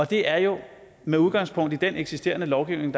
det er jo med udgangspunkt i den eksisterende lovgivning